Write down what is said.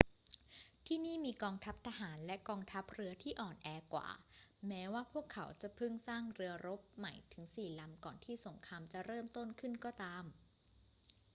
ที่นี่มีกองทัพทหารและกองทัพเรือที่อ่อนแอกว่า แม้ว่าพวกเขาจะเพิ่งสร้างเรือรบใหม่ถึงสี่ลำก่อนที่สงครามจะเริ่มต้นขึ้นก็ตาม